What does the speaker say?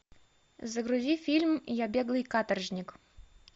загрузи фильм я беглый каторжник